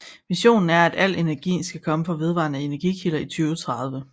Visionen er at al energi skal komme fra vedvarende energikilder i 2030